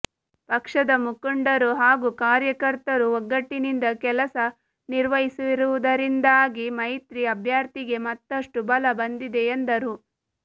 ಪಕ್ಷದ ಮುಖಂಡರು ಹಾಗೂ ಕಾರ್ಯಕರ್ತರು ಒಗ್ಗಟ್ಟಿನಿಂದ ಕೆಲಸ ನಿರ್ವಹಿಸುತ್ತಿರುವುದರಿಂದಾಗಿ ಮೈತ್ರಿ ಅಭ್ಯರ್ಥಿಗೆ ಮತಷ್ಟು ಬಲ ಬಂದಿದೆ ಎಂದರು